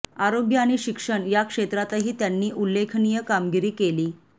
आरोग्य आणि शिक्षण या क्षेत्रातही त्यांनी उल्लेखनीय कामगिरी केली